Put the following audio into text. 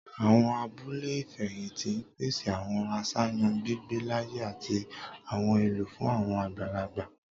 Awọn abule ifẹhinti n pese awọn aṣayan gbigbe laaye ati awọn ohun elo fun awọn agbalagba